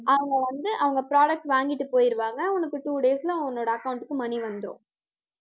அவங்க வந்து, அவங்க products வாங்கிட்டு போயிருவாங்க. உனக்கு two days ல, உன்னோட account க்கு money வந்திரும்